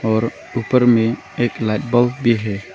और ऊपर में एक लाइट बॉल भी है।